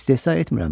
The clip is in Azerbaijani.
İstehza etmirəm.